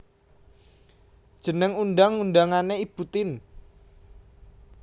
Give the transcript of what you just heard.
Jeneng undang undangané Ibu Tien